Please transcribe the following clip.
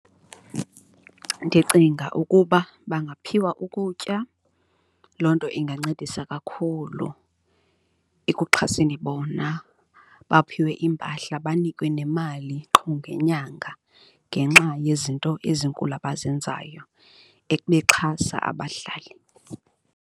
Ndicinga ukuba bangaphiwa ukutya, loo nto ingancedisa kakhulu ekuxhaseni bona, baphiwe iimpahla, banikwe nemali qho ngenyanga ngenxa yezinto ezinkulu abazenzayo bexhasa abahlali.